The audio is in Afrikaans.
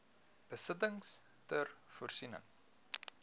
besittings ter voorsiening